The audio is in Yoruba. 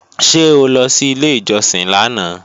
Ṣé o lọ sí ilé ìjọsìn lánàá?